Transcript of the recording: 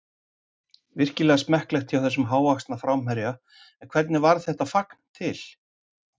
Virkilega smekklegt hjá þessum hávaxna framherja en hvernig varð þetta fagn til?